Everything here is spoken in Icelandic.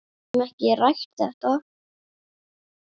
Við höfum ekki rætt þetta.